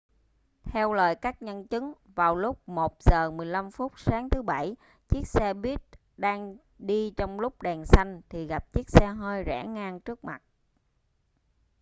theo lời các nhân chứng vào lúc 1 giờ 15 phút sáng thứ bảy chiếc xe buýt đang đi trong lúc đèn xanh thì gặp chiếc xe hơi rẽ ngang trước mặt